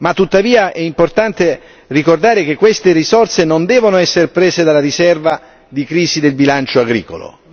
Tuttavia è importante ricordare che queste risorse non devono essere prese dalla riserva di crisi del bilancio agricolo.